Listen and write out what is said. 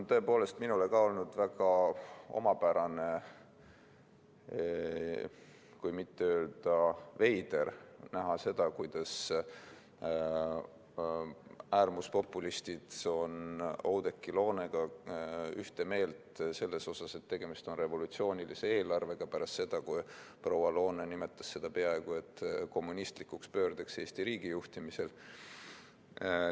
Tõepoolest, minu arvates on ka olnud väga omapärane, kui mitte öelda veider, näha seda, kuidas äärmuspopulistid on Oudekki Loonega ühte meelt selles, et tegemist on revolutsioonilise eelarvega, pärast seda, kui proua Loone nimetas seda peaaegu et kommunistlikuks pöördeks Eesti riigi juhtimisel.